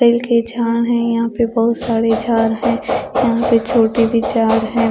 Bell के झाड़ है यहां पे बहुत सारे झाड़ है यहां पे छोटे भी झाड़ है।